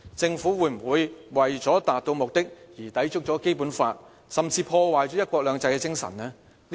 政府會否為了達到目的而抵觸《基本法》，甚至破壞"一國兩制"的精神呢？